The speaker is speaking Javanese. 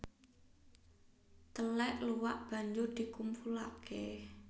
Telèk luwak banjur dikumpulake